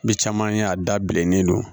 Bi caman ye a da bilen ne don